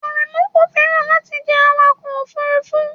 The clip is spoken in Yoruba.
Aremu kò fẹ́ràn láti jẹ́ awakọ̀ òfurufú